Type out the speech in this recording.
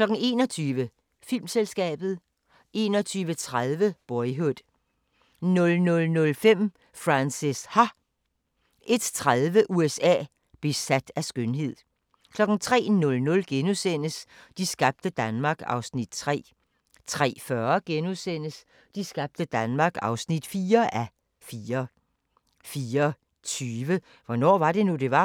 21:00: Filmselskabet 21:30: Boyhood 00:05: Frances Ha 01:30: USA: Besat af skønhed 03:00: De skabte Danmark (3:4)* 03:40: De skabte Danmark (4:4)* 04:20: Hvornår var det nu, det var?